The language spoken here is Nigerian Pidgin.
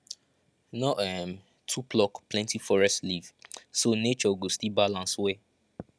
no um too pluck plenty forest leaf so nature go still balance well